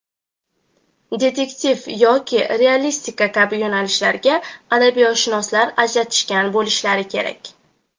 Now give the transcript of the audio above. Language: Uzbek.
"detektiv" yoki "realistika" kabi yo‘nalishlarga adabiyotshunoslar ajratishgan bo‘lishsa kerak.